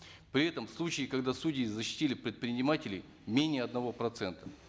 при этом случаи когда судьи защитили предпринимателей менее одного процента